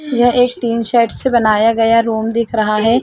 यह एक तीन शर्ट से बनाया गया रूम दिख रहा है।